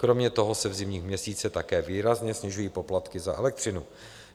Kromě toho se v zimních měsících také výrazně snižují poplatky za elektřinu.